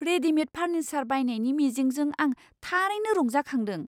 Readymade furniture बायनायनि मिजिंजों आं थारैनो रंजाखांदों!